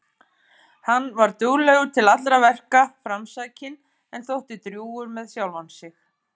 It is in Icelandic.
Hann var duglegur til allra verka, framsækinn en þótti drjúgur með sjálfan sig.